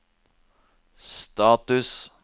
status